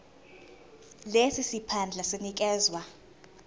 lesi siphandla sinikezwa